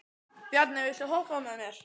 Bjarni, viltu hoppa með mér?